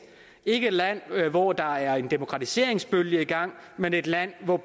ikke et land hvor der er en demokratiseringsproces i gang men et land hvor